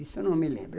Isso eu não me lembro.